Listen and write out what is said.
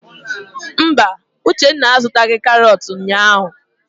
Mba, Uchenna a zụtaghị karọt ụnyaahụ.